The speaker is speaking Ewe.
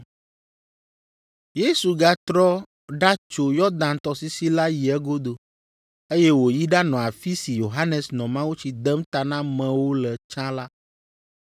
Yesu gatrɔ ɖatso Yɔdan tɔsisi la yi egodo, eye wòyi ɖanɔ afi si Yohanes nɔ mawutsi dem ta na amewo le tsã la.